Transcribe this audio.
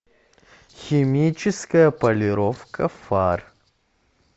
химическая полировка фар